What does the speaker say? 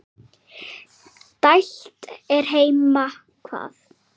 Dælt er heima hvað.